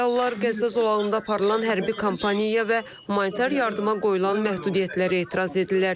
Fəallar Qəzza zolağında aparılan hərbi kampaniyaya və humanitar yardıma qoyulan məhdudiyyətlərə etiraz edirlər.